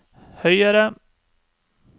høyere